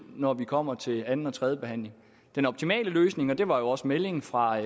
når vi kommer til anden og tredje behandling den optimale løsning og det var jo også meldingen fra